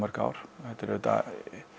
ár þetta er auðvitað